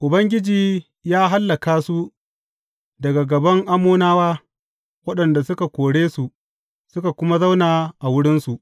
Ubangiji ya hallaka su daga gaban Ammonawa, waɗanda suka kore su, suka kuma zauna a wurinsu.